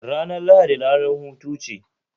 Ranar Lahadi ranar hutu ce